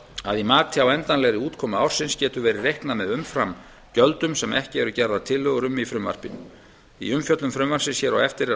að í mati á endanlegri útkomu ársins getur verið reiknað með umframgjöldum sem ekki eru gerðar tillögur um í frumvarpinu í umfjöllun frumvarpsins hér á eftir er